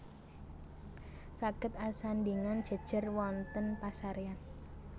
Saged asandhingan jèjèr wonten pasaréyan